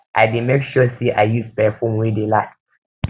i dey make sure sey i use perfume wey dey last